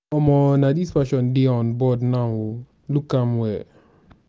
omo na dis fashion dey on board now o look am well.